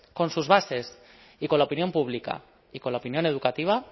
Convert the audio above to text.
con sus bases y con la opinión pública y con la opinión educativa